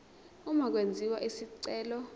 uma kwenziwa isicelo